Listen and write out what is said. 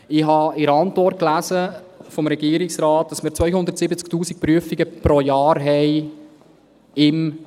Ich habe in der Antwort des Regierungsrates gelesen, dass wir im Kanton 270’000 Prüfungen pro Jahr haben.